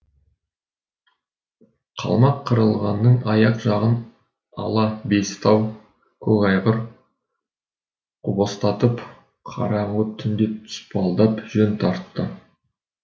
қалмаққырғанның аяқ жағын ала бестау көкайғыр құбастатып қараңғы түнде тұспалдап жөн тартты